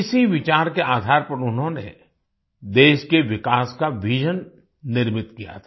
इसी विचार के आधार पर उन्होंने देश के विकास का विजन निर्मित किया था